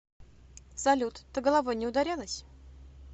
салют ты головой не ударялась